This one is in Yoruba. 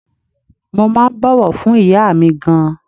Mo máa ń bọ̀wọ̀ fún ìyá mi gan-an.